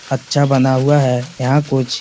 अच्छा बना हुआ है। यहाँ कुछ--